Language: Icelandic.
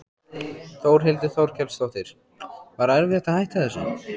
Þórhildur Þorkelsdóttir: Var erfitt að hætta þessu?